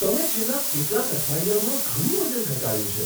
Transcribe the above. તમે છેલ્લા કેટલાક અઠવાડિયામાં ઘણું વજન ઘટાડ્યું છે!